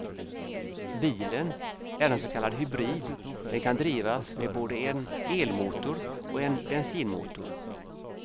Bilen är en så kallad hybrid, den kan drivas med både en elmotor och en bensinmotor.